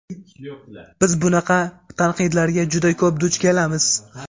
biz bunaqa tanqidlarga juda ko‘p duch kelamiz.